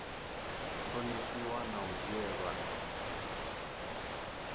ṱhonifhiwa na u dzhielwa nṱha